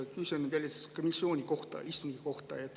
Küsimus on komisjoni istungi kohta.